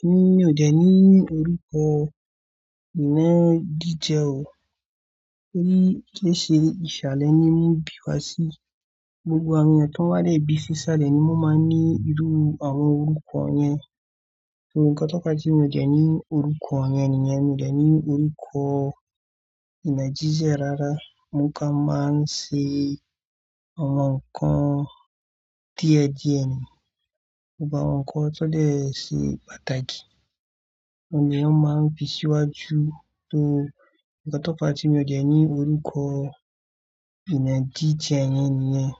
Èmi ò dẹ̀ ní orúkọ inagijẹ o. Torí kí ṣe ìsàlẹ̀ ni wọ́n bí wa sí. Gbogbo àwọn ẹyan tan wa nibi sìsàlẹ̀ ni wọ́n máa ń ní irú àwọn orúkọ yẹn. Òótọ́ ká tí mi ò jẹ̀ ní orúkọ wọ́nyẹn nìyẹn, mi ò dẹ̀ ní orúkọ Naijiria rárá. Wọ́n kàn máa ń ṣe àwọn nǹkan díẹ̀díẹ̀ ni. Ọ̀pọ̀ àwọn nǹkan tó lè ṣe pàtàkì on ni won máa ń fi síwájú tó. Òn tọ́ fá tí mi ò dẹ̀ ní orúkọ ìná gije yẹn nìyẹn.